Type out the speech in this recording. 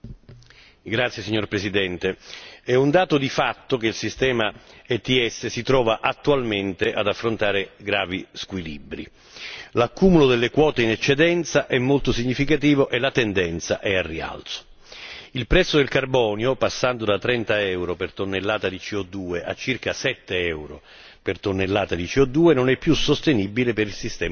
Signor Presidente, onorevoli colleghi, è un dato di fatto che il sistema ETS si trovi attualmente ad affrontare gravi squilibri. L'accumulo delle quote in eccedenza è molto significativo e la tendenza è al rialzo. Il prezzo del carbonio passando da 30 euro per tonnellata di CO 2 a circa 7 euro per tonnellata di CO 2 non è più sostenibile per il sistema di scambio.